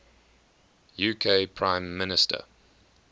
uk prime minister